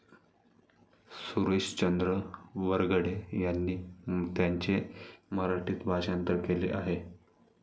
सुरेशचंद्र वरघडे यांनी त्याचे मराठीत भाषांतर केले आहे.